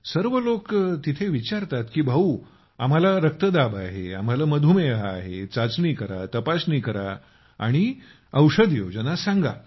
सर्व लोक तेथे विचारतात की भैया आम्हाला रक्तदाब आहे आम्हाला मधुमेह आहे चाचणी करा तपासणी करा आणि औषध योजना सांगा